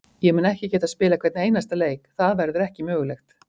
Ég mun ekki geta spilað hvern einasta leik, það verður ekki mögulegt.